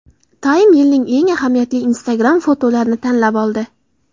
Time yilning eng ahamiyatli Instagram-fotolarini tanlab oldi .